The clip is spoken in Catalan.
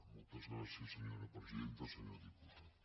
moltes gràcies senyora presidenta senyor diputat